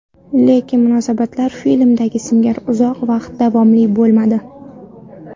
Lekin munosabatlar filmdagi singari uzoq va davomli bo‘lmadi.